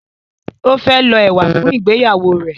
o fẹ lo ewa fún ìgbéyàwó rẹ